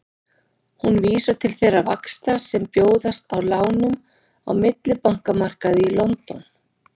Hún vísar til þeirra vaxta sem bjóðast á lánum á millibankamarkaði í London.